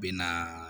Bɛ na